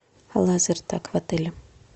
лазертаг в отеле